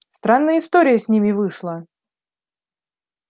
странная история с ними вышла